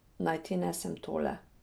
Naj ti nesem tole.